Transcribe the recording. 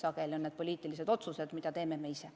Sageli on need poliitilised otsused, mida teeme me ise.